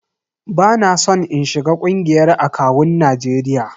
Ba na son in shiga ƙungiyar akawun Najeriya.